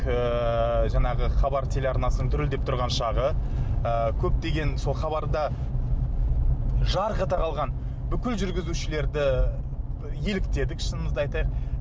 ыыы жаңағы хабар телеарнасының дүрілдеп тұрған шағы ы көптеген сол хабарда жарқ ете қалған бүкіл жүргізушілерді еліктедік шынымызды айтайық